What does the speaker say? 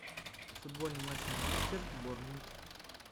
футбольный матч манчестер борнмут